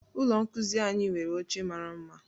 Ụlọ nkuzi anyị nwere oche mara mma